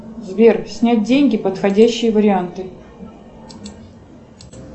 сбер снять деньги подходящие варианты